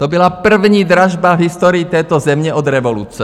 To byla první dražba v historii této země od revoluce.